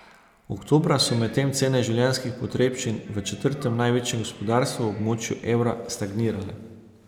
Oktobra so medtem cene življenjskih potrebščin v četrtem največjem gospodarstvu v območju evra stagnirale.